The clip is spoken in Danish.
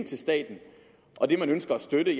til staten og det man ønsker at støtte